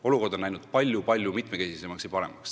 Pilt on läinud palju, palju mitmekesisemaks ja paremaks.